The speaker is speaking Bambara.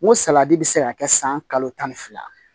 N ko saladi bɛ se ka kɛ san kalo tan ni fila